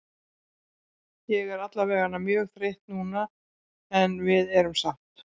Ég er allavegana mjög þreytt núna en við erum sátt.